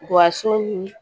Wa so